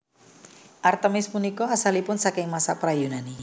Artemis punika asalipun saking masa pra Yunani